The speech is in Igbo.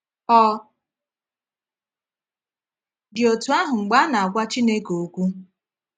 Ọ dị otú ahụ mgbe a a na-agwa Chineke okwu?